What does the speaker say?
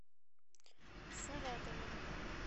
саратовом